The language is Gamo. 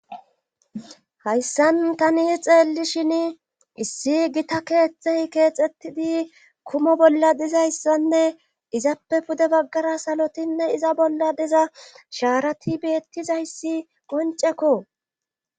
Hayssan tani xeelli shin issi gita keeththey keexxettidi kumo bolla dizayssanne izappe pude baggara salotinne iza bolla diza shaarati beettizayssi goncekko